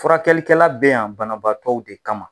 Furakɛlikɛla bɛ yan banabaatɔw de kama.